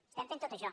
estem fent tot això